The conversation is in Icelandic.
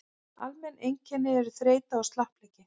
almenn einkenni eru þreyta og slappleiki